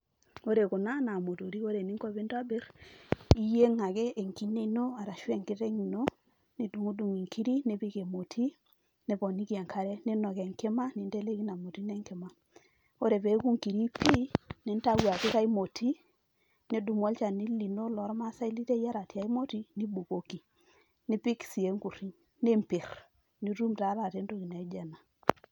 ore kuna naa imotori. ore eninko pee intobir naa iyieng ake enkine ino arashu enkiteng' ino. nidung'udung' inkiri nipiki emoti niponiki enkare. ninok enkima ninteleiki ina moti ino enkima ore pee eku inkiri pii nintayu apik ae moti. nidumu alchani lino loo irmaasae liteyiera te nkae moti nibukoki, nipik sii enkuriny niimbir nitum taa entoki naijo ena.